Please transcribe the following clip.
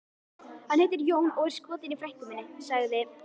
Hann heitir Jón og er skotinn í frænku minni, sagði